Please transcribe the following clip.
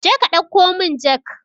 Jeka ɗauko mun jak